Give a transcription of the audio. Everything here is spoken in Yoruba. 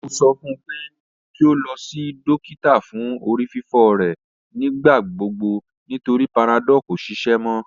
Mo sọ fun pe ki o lọ si dokita fun orififo rẹ nigbagbogbo nitori panadol ko ṣiṣẹ mọ